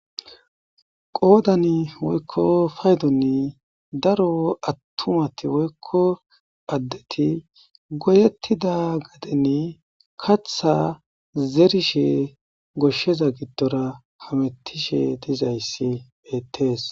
Qoodani woykko paydonni daro attumati woykko paddeti goyettida gadeni katha zerishe goshsheza giddora hamettishe dizayssi bettees